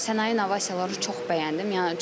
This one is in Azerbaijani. Sənaye innovasiyalarım çox bəyəndim.